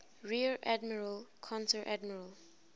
rear admiral konteradmiral